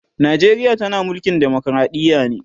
Najeriya tana mulkin demokradiya ne